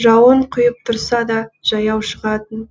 жауын құйып тұрса да жаяу шығатын